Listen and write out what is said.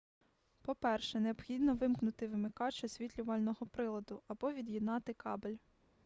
по-перше необхідно вимкнути вимикач освітлювального приладу або від'єднати кабель